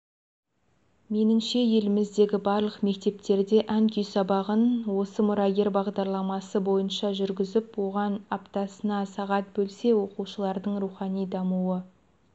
меніңше еліміздегі барлық мектептерде ән-күй сабағын осы мұрагер бағдарламасы бойынша жүргізіп оған аптасына сағат бөлсе оқушылардың рухани дамуы